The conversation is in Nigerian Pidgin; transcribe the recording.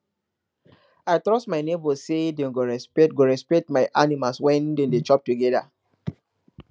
i dey trust my neighbours say dem go respect go respect my animal when dem dey chop together